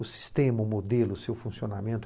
o sistema, o modelo, o seu funcionamento.